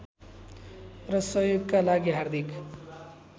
र सहयोगका लागि हार्दिक